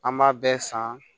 An b'a bɛɛ san